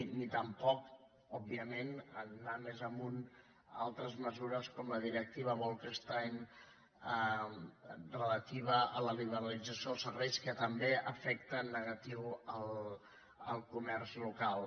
ni tampoc òbviament anant més amunt altres mesures com la directiva bolkestein relativa a la liberalització dels serveis que també afecta en negatiu el comerç local